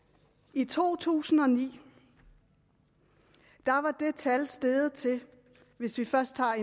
i to tusind og ni var det tal steget til hvis vi først tager